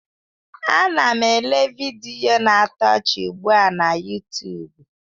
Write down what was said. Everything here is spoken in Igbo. Ana m ele vidiyo na-atọ ọchị ugbu a na Yutubu.